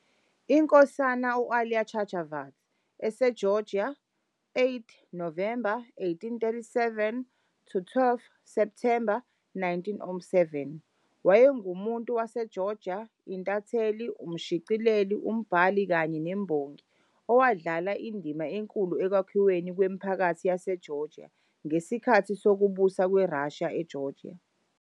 INkosana u-Ilia Chavchavadze, isiGeorgia, 8 Novemba 1837 - 12 Septhemba 1907, wayengumuntu waseGeorgia, intatheli, umshicileli, umbhali kanye nembongi owadlala indima enkulu ekwakhiweni kwemiphakathi yaseGeorgia ngesikhathi sokubusa kweRussia eGeorgia.